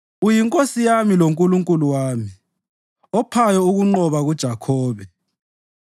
UyiNkosi yami loNkulunkulu wami, ophayo ukunqoba kuJakhobe.